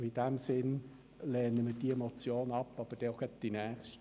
Deshalb lehnen wir diese Motion ab – und auch gerade die nächste.